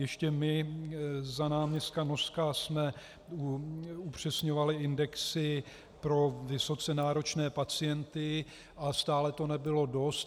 Ještě my za náměstka Noska jsme upřesňovali indexy pro vysoce náročné pacienty a stále to nebylo dost.